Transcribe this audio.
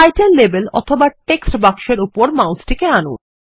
title label অথবা text বাক্সেরউপরে মাউসটিকে আনুন